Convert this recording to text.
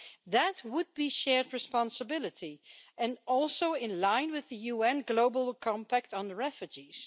That would be shared responsibility, and also in line with the UN Global Compact on Refugees.